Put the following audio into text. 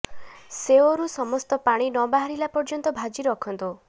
ସେଓରୁ ସମସ୍ତ ପାଣି ନ ବାହାରିଲା ପର୍ଯ୍ୟନ୍ତ ଭାଜି ରଖନ୍ତୁ